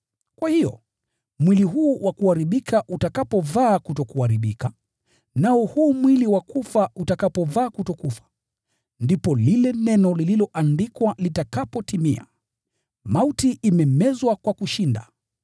Kwa hiyo, mwili huu wa kuharibika utakapovaa kutokuharibika, nao huu mwili wa kufa utakapovaa kutokufa, ndipo lile neno lililoandikwa litakapotimia: “Mauti imemezwa kwa kushinda.”